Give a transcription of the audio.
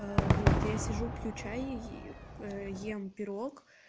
вот я сижу пью чай и ем пирог